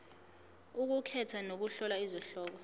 ukukhetha nokuhlola izihloko